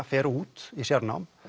fer út í sérnám